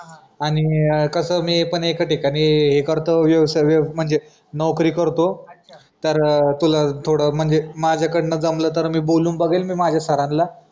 आणि कसं मी पण एका ठिकाणी हे करतोय व्यवसाय व्यवसाय म्हणजे नोकरी करतो तर तुला थोडं म्हणजे माझ्याकडंन जमलं तर मी बोलून बघेल मी माझ्या सरांन ला.